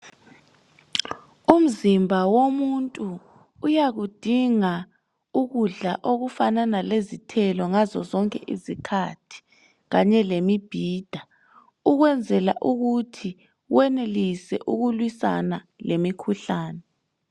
Umzimba womuntu uyakudinga ukudla okufanana lezithelo ngazozonke izikhathi kanye lemibhida, ukwenzela ukuthi wenelise ukulwisana lemikhuhlane.